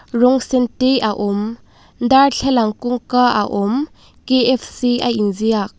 rawng sen te a awm darthlalang kawngka a awm K_F_C a inziak.